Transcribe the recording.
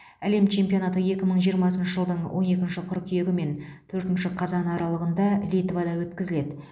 әлем чемпионаты екі мың жиырмасыншы жылдың он екінші қыркүйегі мен төртінші қазаны аралығында литвада өткізіледі